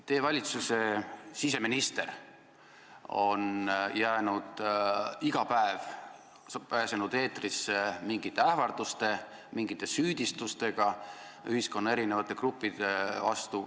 Teie valitsuse siseminister on iga päev pääsenud eetrisse mingite ähvarduste, mingite süüdistustega ühiskonna eri gruppide vastu.